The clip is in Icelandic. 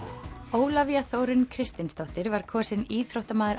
Ólafía Þórunn Kristinsdóttir var kosin íþróttamaður